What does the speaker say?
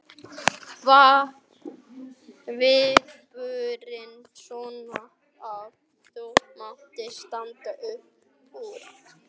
Sveinn: Hvaða viðburðir, svona að þínu mati, standa upp úr?